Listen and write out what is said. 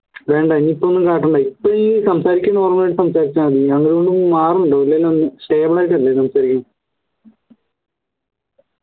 വേണ്ട ഇനി ഇപ്പോ ഒന്നു കാട്ടണ്ട ഇപ്പോ ഈ സംസാരിക്കുന്ന സംസാരിച്ചാ മതി അങ്ങനെയൊന്നും മാറണ്ട